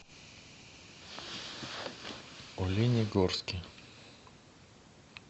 оленегорске